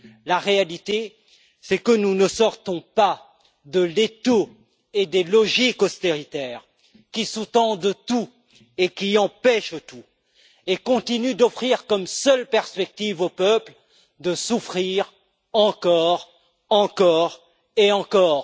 La réalité, c'est que nous ne sortons pas de l'étau et des logiques d'austérité qui sous-tendent tout, empêchent tout et continuent d'offrir comme seule perspective au peuple de souffrir encore, encore et encore.